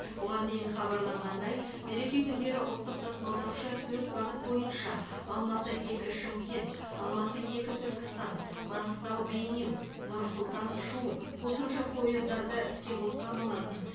бұған дейін хабарланғандай мереке күндері ұлттық тасымалдаушы төрт бағыт бойынша алматы екі шымкент алматы екі түркістан маңғыстау бейнеу нұр сұлтан шу қосымша пойыздарды іске қосқан болатын